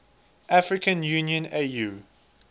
african union au